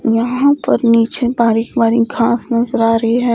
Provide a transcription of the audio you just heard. यहां पर नीचे बारीक बारीक घास नजर आ रही है।